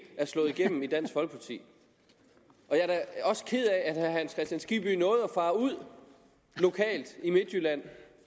er slået igennem i dansk folkeparti jeg er også ked af at herre hans kristian skibby nåede at fare ud lokalt i midtjylland